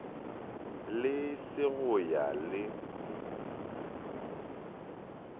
le se go ya le